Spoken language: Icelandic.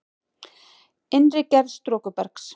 Innri gerð storkubergs